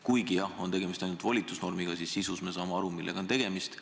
Kuigi jah, tegemist on ainult volitusnormiga, siis sisu osas me saame aru, millega on tegemist.